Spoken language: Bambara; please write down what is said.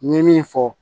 N ye min fɔ